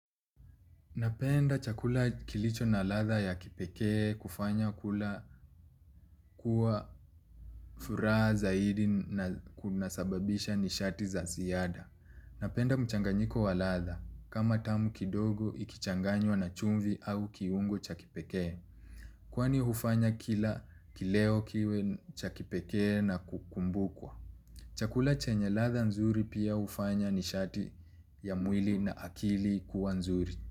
Napenda chakula kilicho na latha ya kipekee kufanya kula kwa furaha zaidi na kunasababisha nishati za ziada. Napenda mchanganyiko wa latha. Kama tamu kidogo ikichanganywa na chumvi au kiungo cha kipekee kwani hufanya kila kileo kiwe cha kipekee na kukumbukwa. Chakula chenye latha nzuri pia hufanya nishati ya mwili na akili kuwa nzuri.